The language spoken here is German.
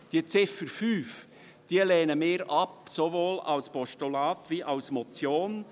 Diese lehnen wir ab, sowohl als Postulat als auch als Motion.